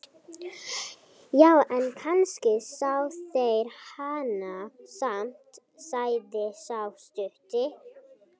Já, en kannski sjá þeir hana samt, sagði sá stutti.